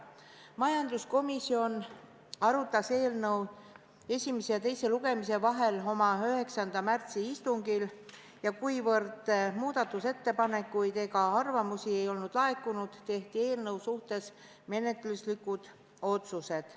Majanduskomisjon arutas eelnõu esimese ja teise lugemise vahel oma 9. märtsi istungil ja kuna muudatusettepanekuid ega arvamusi ei olnud laekunud, tehti menetluslikud otsused.